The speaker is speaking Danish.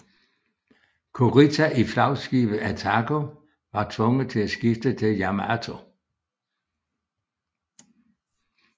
Kurita i flagskibet Atago var tvunget til at skifte til Yamato